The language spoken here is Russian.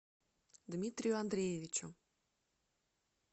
дмитрию андреевичу